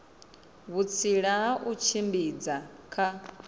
vhutsila ha u tshimbidza kha